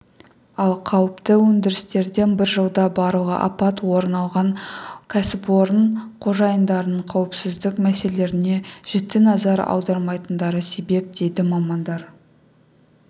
ал қауіпті өндірістерде бір жылда барлығы апат орын алған оған кәсіпорын қожайындарының қауіпсіздік мәселелеріне жіті назар аудармайтындары себеп дейді мамандар